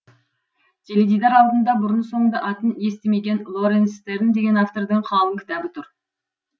теледидар алдында бұрын соңды атын естімеген лоренс стерн деген автордың қалың кітабы тұр